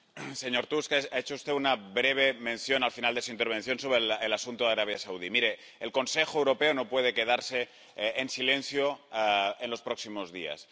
Señora presidenta, señor Tusk, ha hecho usted una breve mención al final de su intervención sobre el asunto de Arabia Saudí. El Consejo Europeo no puede quedarse en silencio en los próximos días.